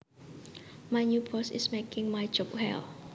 My new boss is making my job hell